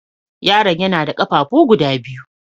Yaron ya na da ƙafafu guda biyu.